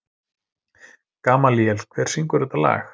Gamalíel, hver syngur þetta lag?